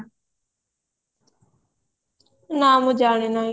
ନାଁ ମୁଁ ଜାଣି ନାହିଁ